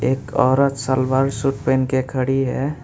एक औरत सलवार सूट पहन के खड़ी है।